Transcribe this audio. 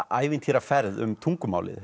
ævintýraferð um tungumálið